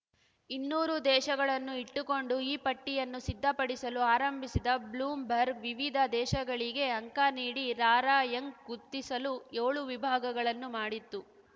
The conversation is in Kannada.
ಇನ್ನೂರು ದೇಶಗಳನ್ನು ಇಟ್ಟುಕೊಂಡು ಈ ಪಟ್ಟಿಯನ್ನು ಸಿದ್ಧಪಡಿಸಲು ಆರಂಭಿಸಿದ್ದ ಬ್ಲೂಮ್‌ಬರ್ಗ್‌ ವಿವಿಧ ದೇಶಗಳಿಗೆ ಅಂಕ ನೀಡಿ ರಾರ‍ಯಂಕ್‌ ಗುರ್ತಿಸಲು ಏಳು ವಿಭಾಗಗಳನ್ನು ಮಾಡಿತ್ತು